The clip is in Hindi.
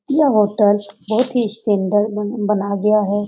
यह होटल बहुत ही स्टैंडर्ड बन बना गया है।